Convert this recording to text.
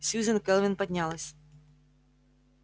сьюзен кэлвин поднялась